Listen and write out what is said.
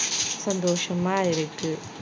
சந்தோசமா இருக்கு